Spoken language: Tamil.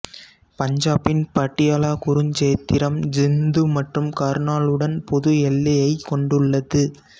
பஞ்சாபின் பட்டியாலா குருச்சேத்திரம் ஜிந்து மற்றும் கர்னாலுடன் பொது எல்லையைக் கொண்டுள்ளது